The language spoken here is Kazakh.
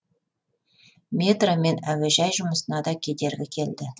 метро және әуежай мен жұмысына да кедергі келді